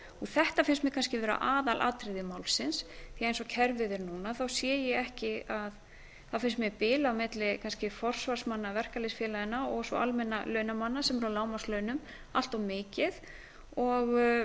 þetta finnst mér kannski vera aðalatriði málsins því að eins og kerfið er núna finnst mér bil á milli kannski forsvarsmanna verkalýðsfélaganna og svo almennra launamanna sem eru á lágmarkslaunum allt of mikið og